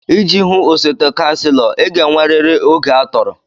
Iji hụ osote Kanselo, ị ga-enwerịrị oge atọrọ.